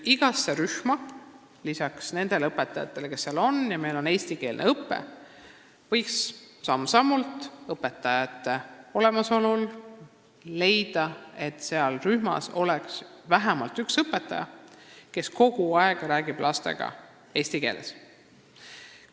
Igasse rühma võiks lisaks nendele õpetajatele, kes seal juba on, samm-sammult ehk õpetajate olemasolul leida vähemalt ühe õpetaja, kes räägiks lastega kogu aeg eesti keeles.